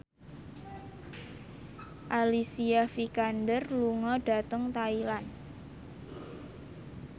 Alicia Vikander lunga dhateng Thailand